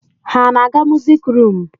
Ha na-aga musik rum?